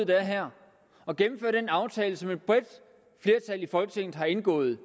der er her og gennemfører den aftale som et bredt flertal i folketinget har indgået